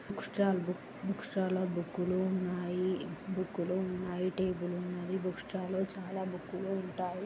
Book stall book book stall లో book లు ఉన్నాయి బుక్ లు ఉన్నాయి. టేబుల్ ఉన్నది బుక్ స్టాల్ లో చాలా బుక్కులు ఉంటాయి.